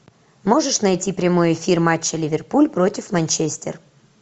можешь найти прямой эфир матча ливерпуль против манчестер